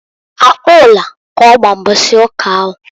Akpola k'ọgba mbọsị ụka ahụ.